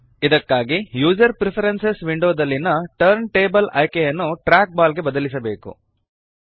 ಇದಕ್ಕಾಗಿ user preferences window ದಲ್ಲಿಯ turntable ಆಯ್ಕೆಯನ್ನು ಟ್ರ್ಯಾಕ್ ಬಾಲ್ ಗೆ ಬದಲಿಸಬೇಕು